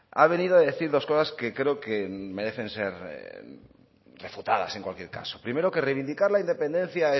ha venido a decir dos cosas que creo que merecen ser refutadas en cualquier caso primero que reivindicar la independencia